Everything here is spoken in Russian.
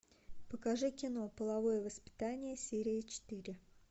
покажи кино половое воспитание серия четыре